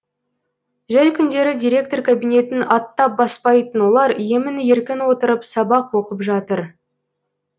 жәй күндері директор кабинетін аттап баспайтын олар емін еркін отырып сабақ оқып жатыр